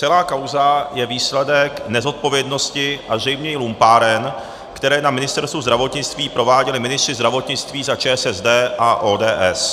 Celá kauza je výsledek nezodpovědnosti a zřejmě i lumpáren, které na Ministerstvu zdravotnictví prováděli ministři zdravotnictví za ČSSD a ODS.